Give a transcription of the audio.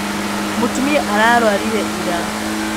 Mũtumia ararwarire ira.